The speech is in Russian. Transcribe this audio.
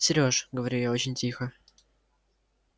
сереж говорю я очень тихо